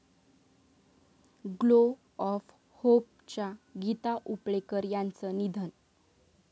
glow of होप'च्या गीता उपळेकर यांचं निधन